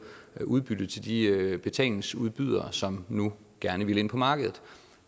udbytte til de betalingsudbydere som nu gerne ville ind på markedet